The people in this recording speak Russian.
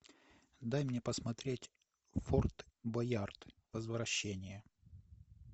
дай мне посмотреть форт боярд возвращение